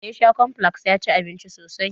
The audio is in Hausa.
Da ya sha bicomplex ya ci abinci sosai.